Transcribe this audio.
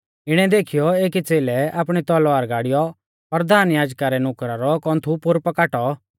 इणै देखीयौ एकी च़ेलै आपणी तलवार गाड़ियौ परधान याजका रै नुकरा रौ कौन्थु पोरु पा काटौ